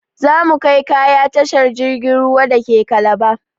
Za mu kai kaya tashar jirgin ruwa dake Calabar.